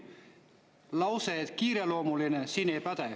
Lause, et kiireloomuline, siin ei päde.